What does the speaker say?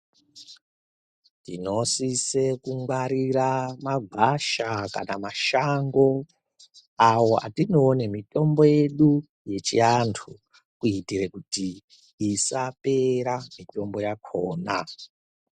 Tinosise kungwarira magwasha kana mashango ayo atinoone mitombo yedu yechiantu kuitire kuti isapera mitombo yakhona.